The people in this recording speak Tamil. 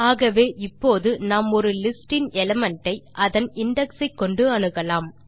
ஆகவே இப்போது நாம் ஒரு லிஸ்ட் இன் எலிமெண்ட் ஐ அதன் இண்டெக்ஸ் ஐ கொண்டு அணுகலாம்